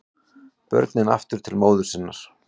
Börnin aftur til móður sinnar